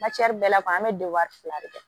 bɛɛ b'a fɔ an bɛ don wari fila de kɛ